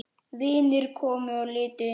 Vinir komu og litu inn.